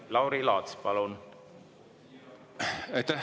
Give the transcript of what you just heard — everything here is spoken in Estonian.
Lauri Laats, palun!